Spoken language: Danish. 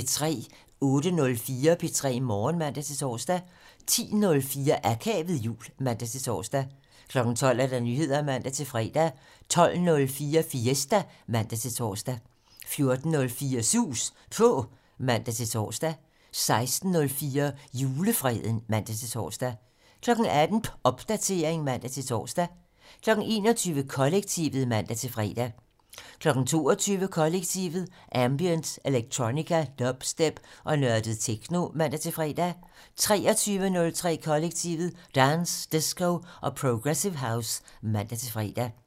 08:04: P3 Morgen (man-tor) 10:04: Akavet jul (man-tor) 12:00: Nyheder (man-tor) 12:04: Fiesta (man-tor) 14:04: Sus På (man-tor) 16:04: Julefreden (man-tor) 18:00: Popdatering (man-tor) 21:00: Kollektivet (man-fre) 22:00: Kollektivet: Ambient, electronica, dubstep og nørdet techno (man-fre) 23:03: Kollektivet: Dance, disco og progressive house (man-fre)